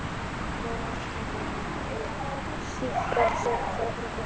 Vorkennir henni að eiga slíkan steliþjóf fyrir dóttur.